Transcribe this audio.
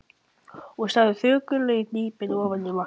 Hún starði þögul og hnípin ofan í vatnið.